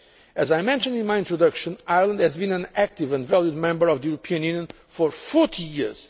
Union. As I mentioned in my introduction, Ireland has been an active and valued member of the European Union for 40